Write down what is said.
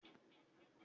O máa fi fasibúùkù sílẹ̀